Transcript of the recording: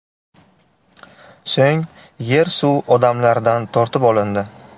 So‘ng yer-suv odamlardan tortib olindi.